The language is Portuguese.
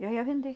Eu ia vender.